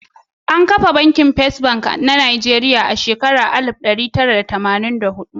An kafa Banki Fes Bank na Nijeriya a shekara ta alif ɗari tara da tamanin da hudu.